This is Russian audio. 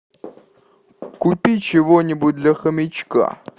купи чего нибудь для хомячка